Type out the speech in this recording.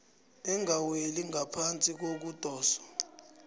engaweli ngaphasi kokudoswa